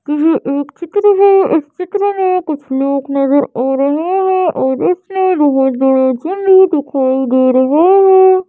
कि एक चित्र है इस चित्र में कुछ लोग नजर आ रहे हैं और उससे बहुत बड़ा झुली दिखाई दे रहा है।